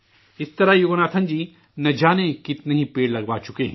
اس طرح یوگناتھن جی نہ جانے کتنے ہی پیڑ لگوا چکے ہیں